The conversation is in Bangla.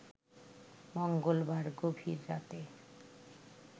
মঙ্গলবার গভীর রাতে